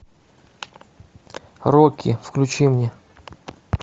рокки включи мне